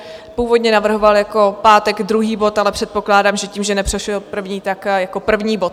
Původně navrhoval jako pátek druhý bod, ale předpokládám, že tím, že neprošel první, tak jako první bod.